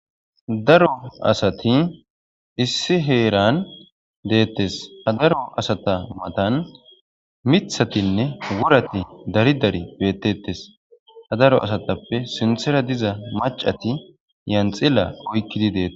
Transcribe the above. Daro asati issi heeran deettes ha daro asata matan mithatinne worati daridari beettettes ha daro asatappe sinthera diza macati yanxila oykkidi deeta.